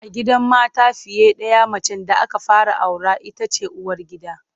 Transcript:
A gidan mata fiye ɗaya macen da aka fara aura ita ce uwargida.